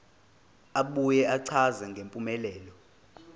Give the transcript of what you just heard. abuye achaze ngempumelelo